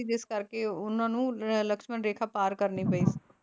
ਜਿਸ ਕਰਕੇ ਉਹ ਉਹਨਾਂ ਨੂੰ ਲਕਸ਼ਮਣ ਰੇਖਾ ਪਾਰ ਕਰਨੀ ਪਈ,